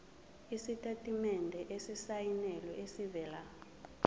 isitatimende esisayinelwe esivela